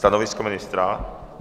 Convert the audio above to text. Stanovisko ministra?